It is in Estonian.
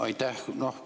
Aitäh!